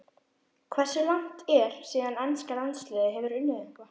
Hversu langt er síðan enska landsliðið hefur unnið eitthvað?